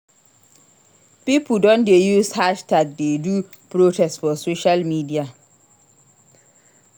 Pipo don dey use hashtag dey do protest for social media.